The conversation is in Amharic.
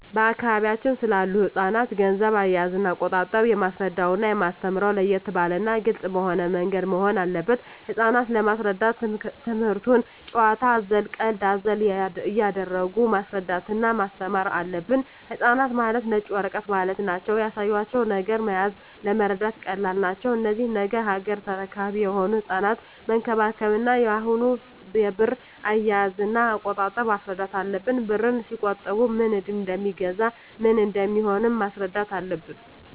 በአካባቢያችን ስላሉ ህጻናት ገንዘብ አያያዝና አቆጣጠብ የማስረዳውና የማስተምረው ለየት ባለና ግልጽ በሆነ ምንገድ መሆን አለበት ህጻናት ለመሰረዳት ትምክህቱን ጭዋታ አዘል ቀልድ አዘል እያረጉ ማስረዳት እና ማስተማር አለብን ህጻናት ማለት ነጭ ወረቀት ማለት ናቸው ያሳያቸው ነገር መያዝ ለመረዳት ቀላል ናቸው እነዚህ ነገ ያገሬ ተረካቢ የሆኑ ህጻናትን መንከባከብ እና አሁኑ የብር አያያዥ እና አቆጣጠብ ማስረዳት አለብን ብርን ሲቆጥቡ ምን እደሜገዛ ምን እንደሚሆኑም ማስረዳት አለብን